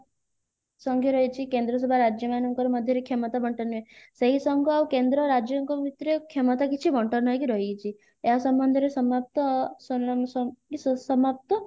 ସଂଘ ରହିଛି କେନ୍ଦ୍ରସଭା ରାଜ୍ୟ ମାନଙ୍କ ମଧ୍ୟରେ କ୍ଷମତା ବଣ୍ଟନ ହୁଏ ସେଇ ସଂଘ ଆଉ କେନ୍ଦ୍ର ରାଜ୍ୟଙ୍କ ଭିତରେ କ୍ଷମତା କିଛି ବଣ୍ଟନ ହେଇକି ରହିଯାଇଛି ଏହା ସମ୍ବନ୍ଧରେ ସମାପ୍ତ ସୁସମାପ୍ତ